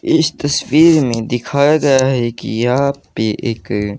इस तस्वीर में दिखाया गया है कि यहां पे एक--